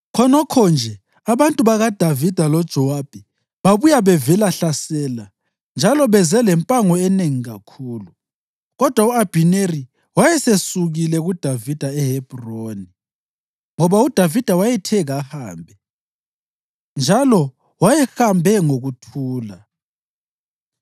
Khonokho nje abantu bakaDavida loJowabi babuya bevelahlasela njalo beze lempango enengi kakhulu. Kodwa u-Abhineri wayesesukile kuDavida eHebhroni, ngoba uDavida wayethe kahambe, njalo wayehambe ngokuthula.